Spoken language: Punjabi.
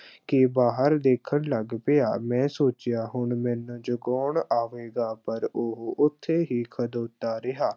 ਕੇ ਬਾਹਰ ਦੇਖਣ ਲੱਗ ਪਿਆ, ਮੈਂ ਸੋਚਿਆ, ਹੁਣ ਮੈਨੂੰ ਜਗਾਉਣ ਆਵੇਗਾ ਪਰ ਉਹ ਉੱਥੇ ਹੀ ਖੜੋਤਾ ਰਿਹਾ।